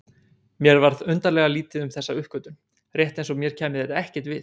Mér varð undarlega lítið um þessa uppgötvun, rétt eins og mér kæmi þetta ekkert við.